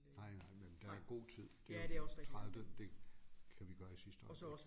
Nej nej men der er god tid det jo den tredivte det kan vi gøre i sidste øjeblik